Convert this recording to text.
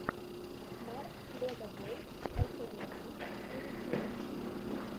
марк легобой альтернатив на ютьюбе